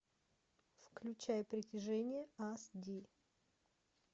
включай притяжение ас ди